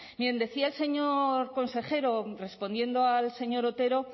miren decía el señor consejero respondiendo al señor otero